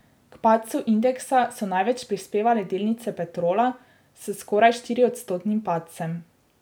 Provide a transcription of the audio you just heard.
K padcu indeksa so največ prispevale delnice Petrola s skoraj štiriodstotnim padcem.